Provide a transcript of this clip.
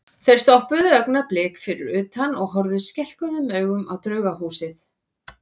Þeir stoppuðu augnablik fyrir utan og horfðu skelkuðum augum á Draugahúsið.